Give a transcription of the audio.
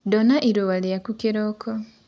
Ndona ĩrũa rĩakũ kĩroko